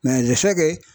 fɛkɛ